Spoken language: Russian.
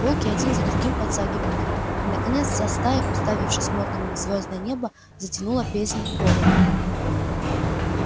волки один за другим подтягивали ей и наконец вся стая уставившись мордами в звёздное небо затянула песнь голода